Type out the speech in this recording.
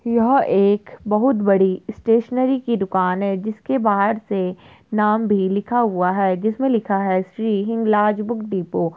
यह एक बहुत बड़ी स्टेशनरी की दुकान है जिसके बाहर से नाम भी लिखा हुआ है जिसमें लिखा है श्री हिंगलाज बुक डिपो ।